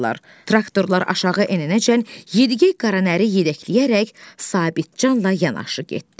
Traktorlar aşağı enincə Yediqey qara nəri yedəkləyərək Sabitcanla yanaşı getdi.